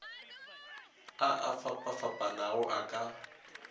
a a fapafapanago a ka